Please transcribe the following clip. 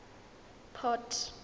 port